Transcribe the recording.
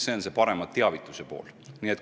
See on parem teavitamine.